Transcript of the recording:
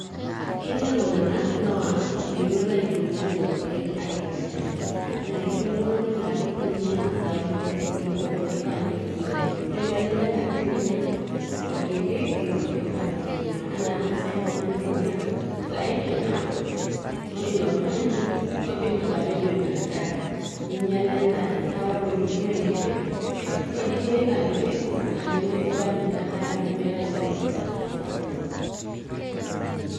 ketii iltung'anak laa meyiolo aitumia lelo keek aitobiraki anaa ketii oltung'ani laa kitumia zaidi kuliko enaifaa nitumia netii olikae laa kitumia orkiti kuliko naifaa nitumia anaa ore sai oltung'ani oitumia zaidi naa ore ilo tung'ani naa kidim atapejo ina daa ninyiala endaa naa ore oloitumia enkiti kidim aitumia inakiti naa nmemesidanu ina daa amu meeta naa entoki nataasa.